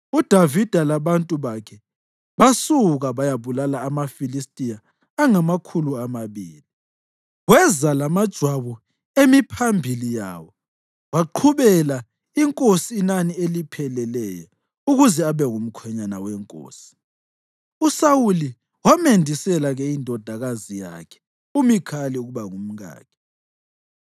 uDavida labantu bakhe basuka bayabulala amaFilistiya angamakhulu amabili. Weza lamajwabu emiphambili yawo waqhubela inkosi inani elipheleleyo ukuze abe ngumkhwenyana wenkosi. USawuli wamendisela-ke indodakazi yakhe uMikhali ukuba ngumkakhe.